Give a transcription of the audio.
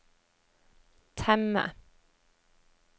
temme